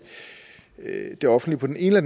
det offentlige på den ene